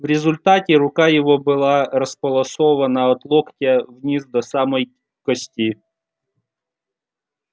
в результате рука его была располосована от локтя вниз до самой кости